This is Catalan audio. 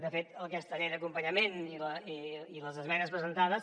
de fet aquesta llei d’acompanyament i les esmenes presentades